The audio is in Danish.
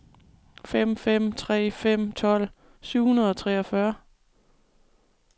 fem fem tre fem tolv syv hundrede og treogfyrre